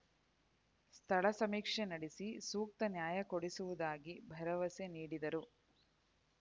ಸ್ಥಳ ಸಮೀಕ್ಷೆ ನಡೆಸಿ ಸೂಕ್ತ ನ್ಯಾಯ ಕೊಡಿಸುವುದಾಗಿ ಭರವಸೆ ನೀಡಿದರು